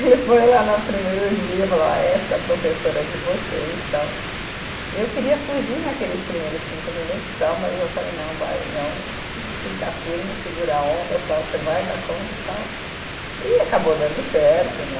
Ele foi lá no primeiro dia, falou, ó, essa é a professora de vocês, tal, e eu queria fugir naqueles primeiros cinco minutos, tal, mas eu falei, não, vai, não, fica firme, segura a onda, tal, você vai dar conta, tal, e acabou dando certo, né.